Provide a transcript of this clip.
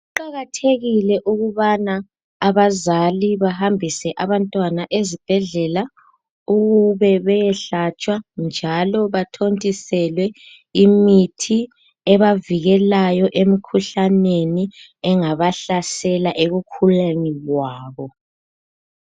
Kuqakathekile ukubana abazali bahambise abantwana ezibhedlela ukube beyehlatshwa, njalo bathontiselwe imithi ebavikelayo emkhuhlaneni engabahlasela ekukhuleni kwabo.